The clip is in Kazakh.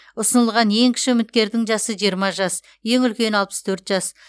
ұсынылған ең кіші үміткердің жасы жиырма жас ең үлкені алпыс төрт жас